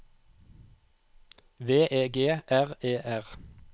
V E G R E R